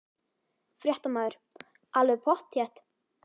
Fréttamaður: Alveg pottþétt?